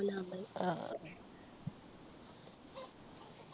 ആഹ്